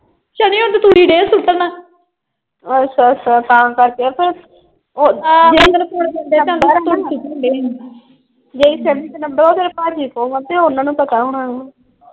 ਅੱਛਾ ਅੱਛਾ ਤਾ ਕਰਕੇ ਫੇਰ। ਜਿਹੜੇ ਜਿਹੜੀ ਸਿਮ ਚ ਨੰਬਰ ਆ ਉਹ ਤੇਰੇ ਪਾਜੀ ਕੋਲ ਆ। ਤੇ ਓਹਨਾ ਨੂੰ ਪਤਾ ਹੁਣਾ।